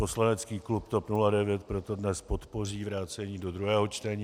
Poslanecký klub TOP 09 proto dnes podpoří vrácení do druhého čtení.